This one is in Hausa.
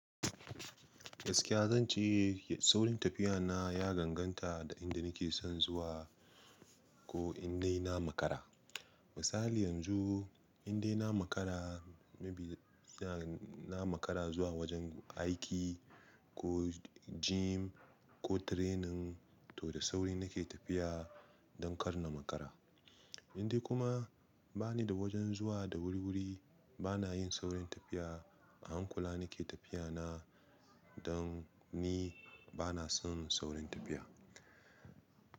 Gaskiya zan ce, saurin tafiya na ya danganta da inda nake son zuwa ko in dai na makara. Misali yanzu, in dai na makara, maybe ina na makara zuwa wajen aiki ko gym ko training, toh da sauri nake tafiya don kar na makara. In dai kuma bani da wajen zuwa da wuri-wuri, bana yin saurin tafiya, a hankula nake tafiya na don ni bana son saurin tafiya.